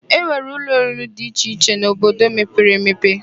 E nwere ụlọ oriri dị iche iche n'obodo mepere emepe.